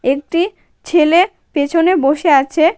একটি ছেলে পেছনে বসে আছে।